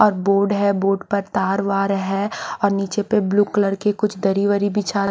और बोर्ड है बोर्ड पे तार वार है और नीचे पे ब्लू कलर की कुछ दरी वरी बिछा--